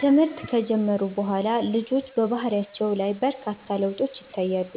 ትምህርት ከጀመሩ በኋላ ልጆች በባህሪያቸው ላይ በርካታ ለውጦች ይታያሉ።